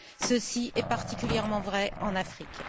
Ceci est particulièrement vrai en Afrique.